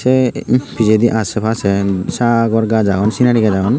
ey pejedi aase paase sagor gaaj agon sinery gaaj agon.